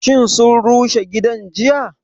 Shin sun rushe gidan jiya?